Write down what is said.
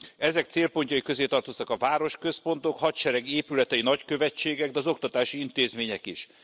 Ezek célpontjai közé tartoztak a városközpontok, a hadsereg épületei, nagykövetségek, de az oktatási intézmények is.